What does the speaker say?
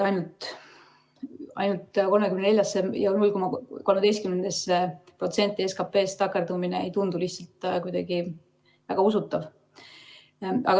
Ainult 34 miljonisse ja 0,13% SKP‑st takerdumine ei tundu lihtsalt kuidagi väga usutav.